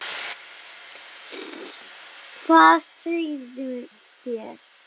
Hvað segið þér?